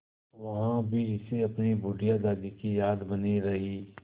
वहाँ भी इसे अपनी बुढ़िया दादी की याद बनी रही